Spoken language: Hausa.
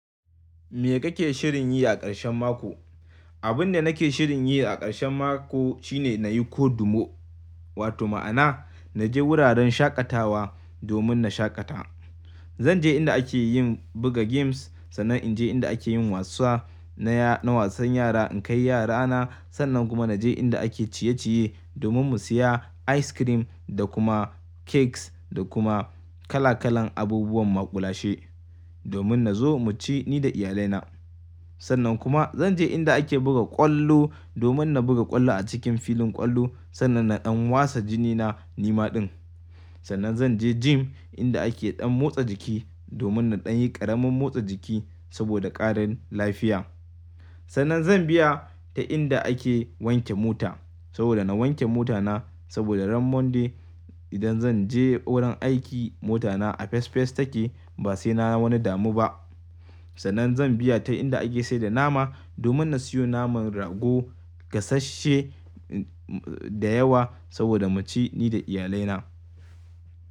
Me kake shirin yi a ƙarshen mako? Abin da nake shirin yi a ƙarshen mako shine na yi kodumo, wato ma'ana naje wuraren shaƙatawa domin na shaƙata. Zanje inda ake yin buga games, sannan inje inda ake yin wasa, na wasan yara in kai yarana. Sannan kuma naje inda ake ciye-ciye domin mu siya ice cream da kuma cakes da kuma kala kalan abubuwan maƙulashe, domin nazo mu ci ni da iyalaina. Sannan kuma zanje inda ake buga ƙwallo domin na buga ƙwallo a cikin filin ƙwallo sannan na ɗan wasa jinina nima din. Sannan zanje gym inda ake ɗan motsa jiki domin na ɗan yi ƙaramin motsa jiki saboda ƙarin lafiya. Sannan zan biya ta inda ake wanke mota saboda na wanke mota na saboda ran Monday idan zanje wurin aiki mota na a fes fes take ba sai na wani damu ba. Sannan zan biya ta inda ake saida nama domin na siyo naman rago gasashe da yawa saboda mu ci ni da iyalaina.